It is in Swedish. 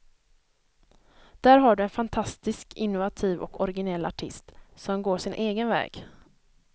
Där har du en fantastiskt innovativ och originell artist som går sin egen väg.